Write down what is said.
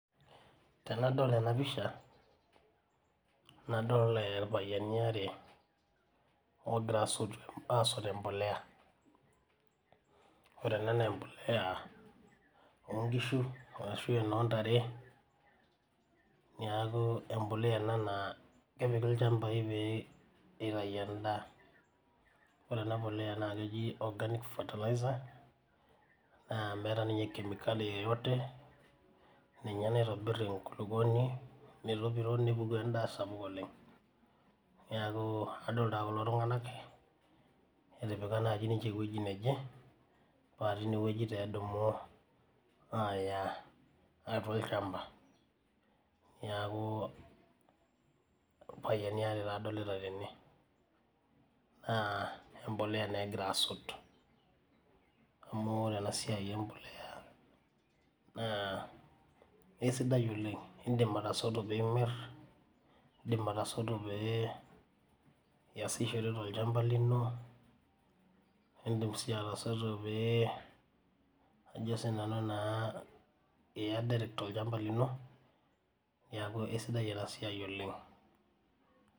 Tenadol enapisha nadol irpayiani are ogira aot embolea obkishu ashubenontare neaku empolea ena na lepiki lchambai peitau endaa ore ena na organic fertiliser na meeta ninche kemikali ninye naitobir enkulukuoni nepuku endaa sapuk oleng neaku adolta kulo tunganak etipika ninche ewoi neje paa tinewueji epuku aya olchamba neaku irpayiani aaree adolta tene na embolea naa egira aspt amu oee enasia empolea na kesida oleng amu indim atosotu nimir ashu indim atosotu niasishore tolchamba lino naidimbai atasoto peyie iya olchamba lino neaku esidai enasia oleng